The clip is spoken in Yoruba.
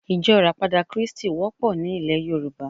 Ijó ìràpadà krístì wópò ni ilè Yorùbá